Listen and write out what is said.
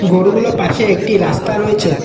গরুগুলো পাশে একটি রাস্তা রয়েছে।